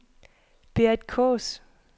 Berit Kaas